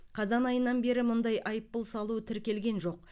қазан айынан бері мұндай айыппұл салу тіркелген жоқ